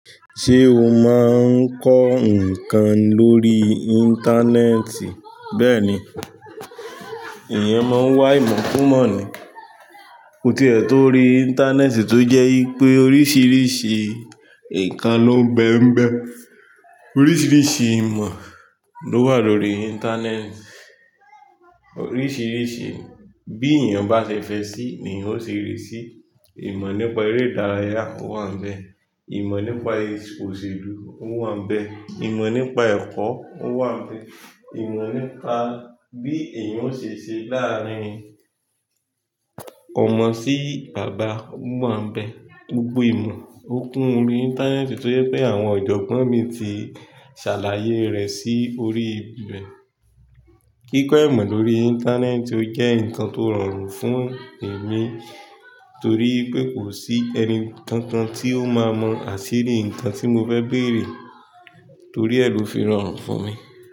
Ṣé o máa ń kọ́ nǹkan lórí Íńtánẹ́ẹ̀tì? Bẹ́ẹ̀ni, èèyàn máa ń wá ìmọ̀ kun mọ̀ ní o tie tó orí Íńtánẹ́ẹ̀tì tó jẹ́ wipé oríṣiiríṣii nǹkan ló ń bẹ n bẹ. Oríṣiríṣi ìmọ̀ ló wà lórí Íńtánẹ́ẹ̀tì, oríṣiiríṣii bí èèyàn bá fẹ́ fẹ́ sí ni eeyan o ṣe rí. Ìmọ̀ nípa eré ìdárayá o wà n bẹ̀, ìmọ̀ nípa oṣèlú o wà n bẹ̀, ìmọ̀ nípa ẹ̀kọ́ o wà n bẹ̀, ìmọ̀ nípa bí èèyàn o ṣe ṣe láàárín ọmọ sí bàbá o wà n bẹ̀. Gbogbo ìmọ̀ o kun órí Íńtánẹ́ẹ̀tì to je wipé àwọn ọ̀jọ̀gbọ́n mi ti ṣàlàyé rẹ̀ sí orí ibẹ̀. Kíkọ ìmọ̀ lórí Íńtánẹ́ẹ̀tì o jẹ́ nǹkan tó rọrùn fún èmi torí wipé kò sí ẹni kankan tí ó máa mọ àsìrí nǹkan tí mo fẹ́ bèèrè torí ẹ lo fi rorun fún mi.